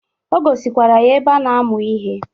O gosikwara ya ebe a na-amụ ihe.